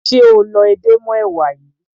Ṣé o lọ edé mọ́ èwà yìí?